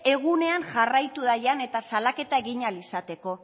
egunean jarraitu dagian eta salaketa egin ahal izateko